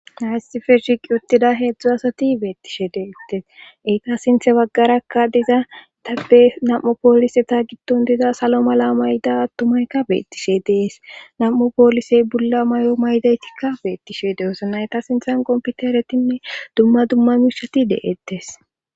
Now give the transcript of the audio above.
haysi feshiq uttida heedzdzu asati beettishe deettes iita sinthe baggarakka diza dabbe nam7u pooliseta gidton diza salo mala mayda attumaykka beettishe dees nam7u poolisey bulla may7o maydaytikka beettishe de7es nayta sinthan qomputeretinne dumma dumma miishati de7ettes